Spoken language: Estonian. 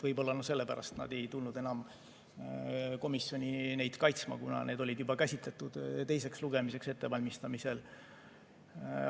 Võib-olla sellepärast nad ei tulnud enam komisjoni neid kaitsma, kuna need olid juba käsitletud teiseks lugemiseks ettevalmistamisel.